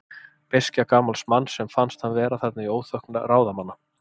Beiskja gamals manns, sem fannst hann vera þarna í óþökk ráðamanna.